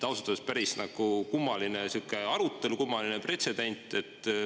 Ausalt öeldes päris kummaline sihuke arutelu, kummaline pretsedent.